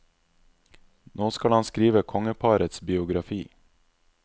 Nå skal han skrive kongeparets biografi.